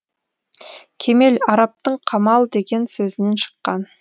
кемел арабтың камал деген сөзінен шыққан